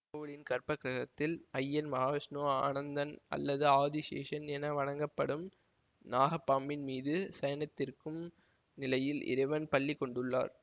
கோவிலின் கற்பக்கிரகத்தில் அய்யன் மகா விஷ்ணு அனந்தன் அல்லது ஆதி செஷன் என வணங்கப்படும் நாகப்பாம்பின் மீது சயனித்திருக்கும் நிலையில் இறைவன் பள்ளி கொண்டுள்ளார்